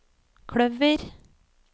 kløver